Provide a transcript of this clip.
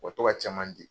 U ka to ka caman di